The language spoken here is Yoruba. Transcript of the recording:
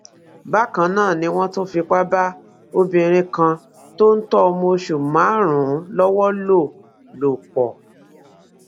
bákan náà ni wọn tún fipá bá obìnrin kan tó ń tọ ọmọ oṣù márùnún lọwọ lò lò pọ